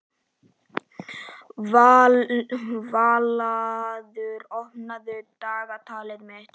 Vallaður, opnaðu dagatalið mitt.